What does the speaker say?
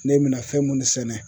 Ne bina fɛn munnu sɛnɛ